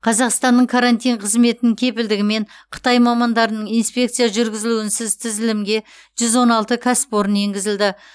қазақстанның карантин қызметінің кепілдігімен қытай мамандарының инспекция жүргізуінсіз тізілімге жүз он алты кәсіпорын енгізілді